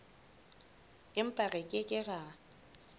empa re ke ke ra